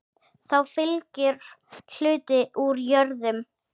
Þá fylgir hluti úr jörðum.